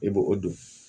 I bo o don